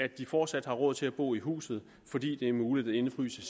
at de fortsat har råd til at bo i huset fordi det er muligt at indefryse